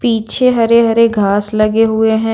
पीछे हरे-हरे घास लगे हुए हैं।